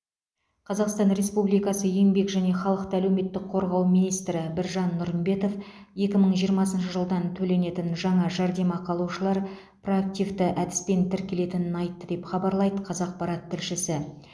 қазақстан республикасы еңбек және халықты әлеуметтік қорғау министрі біржан нұрымбетов екі мың жиырмасыншы жылдан төленетін жаңа жәрдемақы алушылар проактивті әдіспен тіркелетінін айтты деп хабарлайды қазақпарат тілшісі